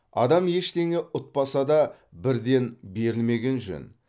адам ештеңе ұтпаса да бірден берілмеген жөн